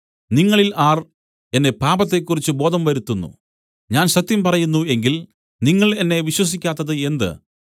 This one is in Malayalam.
നിങ്ങളിൽ ആർ എന്നെ പാപത്തെക്കുറിച്ച് ബോധം വരുത്തുന്നു ഞാൻ സത്യം പറയുന്നു എങ്കിൽ നിങ്ങൾ എന്നെ വിശ്വസിക്കാത്തത് എന്ത്